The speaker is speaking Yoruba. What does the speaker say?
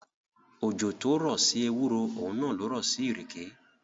Òjò tó rọ̀ sí ewúro, òun náà lo rọ̀ sí ìrèké.